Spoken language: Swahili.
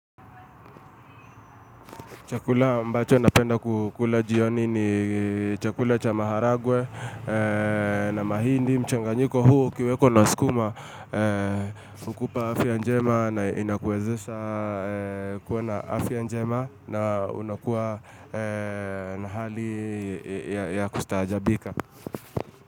Chakula ambacho napenda kula jioni ni chakula cha maharagwe na mahindi. Mchanganyiko huo ukiweko na skuma hukupa afya njema na inakuwezesha kuwa na afya njema na unakuwa na hali ya kustaajabika.